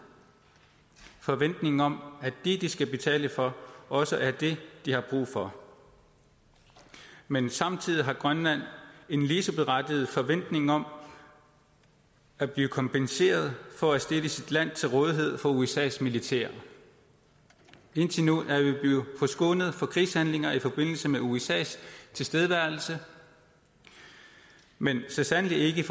forventning om at det de skal betale for også er det de har brug for men samtidig har grønland en lige så berettiget forventning om at blive kompenseret for at stille sit land til rådighed for usas militær indtil nu er vi blevet forskånet for krigshandlinger i forbindelse med usas tilstedeværelse men så sandelig